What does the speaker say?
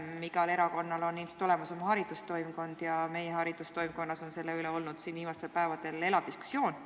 Igal erakonnal on ilmselt olemas oma haridustoimkond ja meie haridustoimkonnas on viimastel päevadel olnud selle teema üle elav diskussioon.